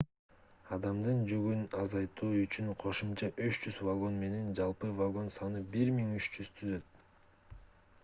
адамдардын жүгүн азайтуу үчүн кошумча 300 вагон менен жалпы вагон саны 1300 түзөт